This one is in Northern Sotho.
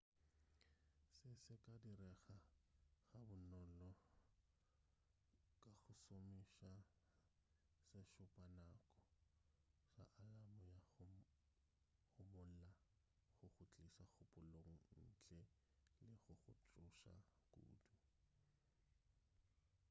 se se ka direga ga bonolo ka go šomiša sešupanako sa alamo ya go homola go go tliša kgopolong ntle le go go tsoša kudu